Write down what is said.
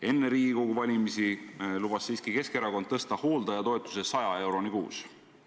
Enne Riigikogu valimisi lubas Keskerakond tõsta hooldajatoetuse 100 euroni kuus.